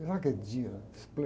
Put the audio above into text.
Sabe aquele dia